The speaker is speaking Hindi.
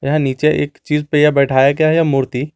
यह नीचे एक चीज पे यह बिठाया गया है यह मूर्ति।